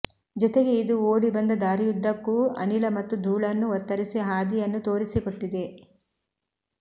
ಜೊತೆಗೆ ಇದು ಓಡಿ ಬಂದ ದಾರಿಯುದ್ದಕ್ಕೂ ಅನಿಲ ಮತ್ತು ಧೂಳನ್ನು ಒತ್ತರಿಸಿ ಹಾದಿಯನ್ನು ತೋರಿಸಿಕೊಟ್ಟಿದೆ